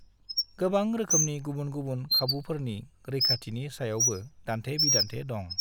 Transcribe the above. गोबां रोखोमनि गुबुन-गुबुन खाबुफोरनि रैखाथिनि सायावबो दान्थे-बिदान्थे दं।